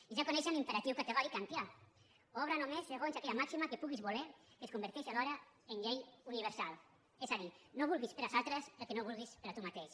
i ja coneixen l’imperatiu categòric kantià obra només segons aquella màxima que puguis voler que es converteixi alhora en llei universal és a dir no vulguis per als altres el que no vulguis per a tu mateix